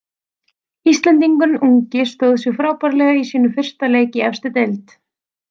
Íslendingurinn ungi stóð sig frábærlega í sínum fyrsta leik í efstu deild.